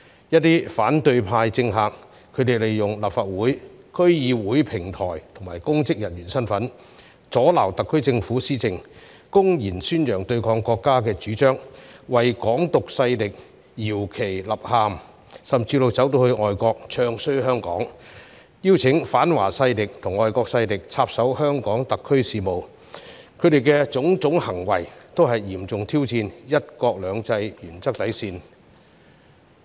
一些反對派政客利用立法會和區議會平台及其公職人員身份，阻撓特區政府施政，公然宣揚對抗國家主張，為"港獨"勢力搖旗吶喊，甚至走到外國"唱衰"香港，邀請反華勢力及外國勢力插手香港特區事務，他們的種種行為均嚴重挑戰"一國兩制"原則底線。